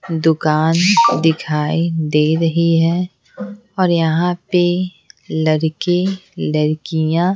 दुकान दिखाई दे रही है और यहाँ पे लड़के लड़कियाँ --